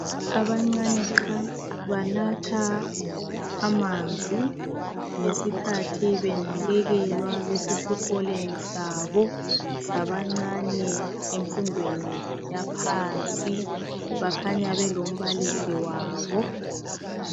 Abancane qha banatha amanzi ngesikhathi benakekelwa besesikoleni sabo sabancane emfundweni yaphansi bakhanya belombaliso wabo